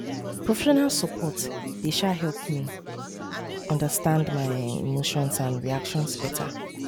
professional support dey um help me understand my um emotions and reactions better